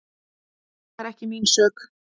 Það er ekki mín sök.